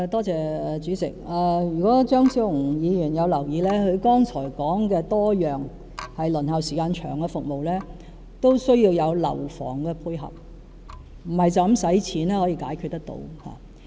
主席，如果張超雄議員有留意，他剛才提及多項輪候時間長的服務，均需要樓房的配合，不是單純用金錢便可以解決得到。